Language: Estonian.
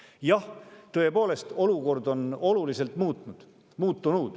Jah, tõepoolest, olukord on oluliselt muutunud.